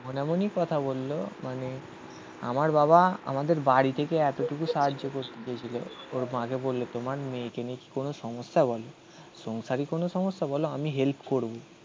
এমন এমনই কথা বলল মানে আমার বাবা আমাদের বাড়ি থেকে এতটুকু সাহায্য করতে চেয়েছিল ওর মাকে বললো তোমার মেয়েকে নিয়ে কি কোনো সমস্যা বলো? সংসারী কোনো সমস্যা বলো আমি হেল্প করবো.